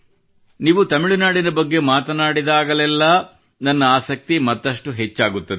ನೀವು ತಮಿಳುನಾಡಿನ ಬಗ್ಗೆ ಮಾತನಾಡಿದಾಗಲೆಲ್ಲಾ ನನ್ನ ಆಸಕ್ತಿ ಮತ್ತಷ್ಟು ಹೆಚ್ಚಾಗುತ್ತದೆ